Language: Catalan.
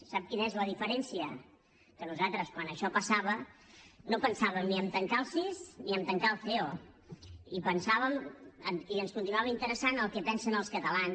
sap quina és la diferència que nosaltres quan això passava no pensàvem ni a tancar el cis ni a tancar el ceo i ens continuava interessant el que pensen els catalans